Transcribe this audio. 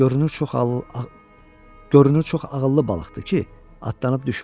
Görünür çox ağıllı balıqdır ki, atdanıb düşmür.